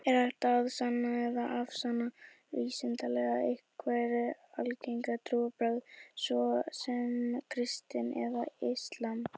Er hægt að sanna eða afsanna vísindalega einhver algeng trúarbrögð, svo sem kristni eða islam?